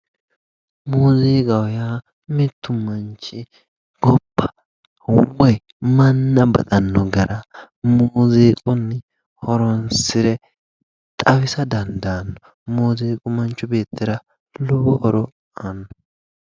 Muziiqaho yaa mitu manchi hubbayi manna baxano gara muziiquni horonsire xawisa dandaano, muziiqu manchi beettira lowo horo aano.